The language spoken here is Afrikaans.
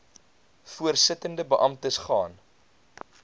voorsittende beamptes gaan